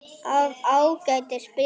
Af Ágætis byrjun